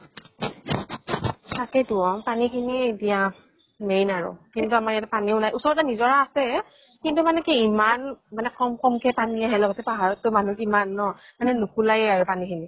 তাকে টো অ, পানী খিনিয়ে এতিয়া main আৰু। কিন্তু আমাৰ ইয়াতে পানীও নাই। ওচৰতে নিজৰা আছে, কিন্তু মানে কি ইমান কম কম কে পানী আহে লগতে পাহাৰত টো মানুহ কিমান ন? মানে নুকুলাইয়ে আৰু পানী খিনি।